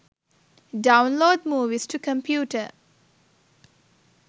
download movies to computer